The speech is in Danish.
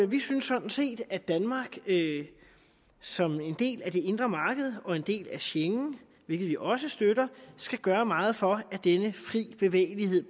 vi synes sådan set at danmark som en del af det indre marked og en del af schengen hvilket vi også støtter skal gøre meget for at denne frie bevægelighed